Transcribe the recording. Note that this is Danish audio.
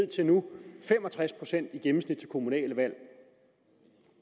til nu fem og tres procent i gennemsnit ved kommunale valg